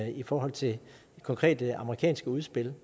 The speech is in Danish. i forhold til konkrete amerikanske udspil